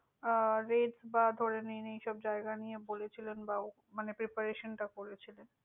আহ rate বা ধরেনিন, এই সব জায়গা নিয়ে বলেছিলেন বা, preparation টা করেছিলেন।